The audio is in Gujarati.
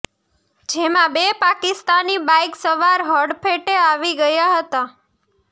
જેમાં બે પાકિસ્તાની બાઈક સવાર હડફેટે આવી ગયાં હતાં